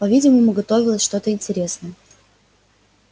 по видимому готовилось что то интересное